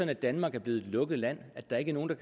at danmark er blevet et lukket land at der ikke er nogen